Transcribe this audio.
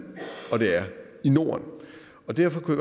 og det er i norden derfor kunne